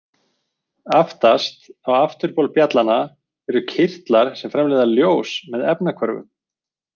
Aftast á afturbol bjallanna eru kirtlar sem framleiða ljós með efnahvörfum.